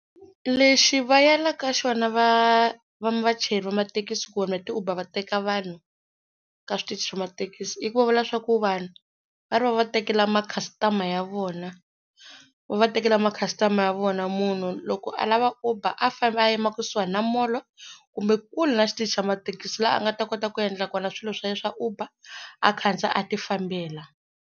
Lexi va yalaka xona va vachayeri va mathekisi ku vanhu va ti Uber va teka vanhu ka switichi swa mathekisi i ku va vula leswaku vanhu va ri va va tekela ma customer ya vona, va va tekela ma customer ya vona munhu loko a lava uber a fambi a yima kusuhani na molo kumbe kule na xitichi xa mathekisi laha a nga ta kota ku endla kona swilo swa yena swa Uber a khandziya a ti fambela.